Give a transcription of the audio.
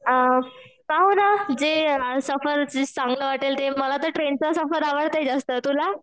अ पाहू ना जे चांगलं वाटेल ते मला तर ट्रेनचा सफर आवडतो जास्त तुला?